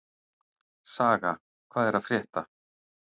Saga, hvað er að frétta?